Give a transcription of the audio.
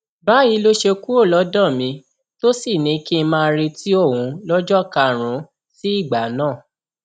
báyìí ló ṣe kúrò lọdọ mi tó sì ní kí n máa retí òun lọjọ karùnún sí ìgbà náà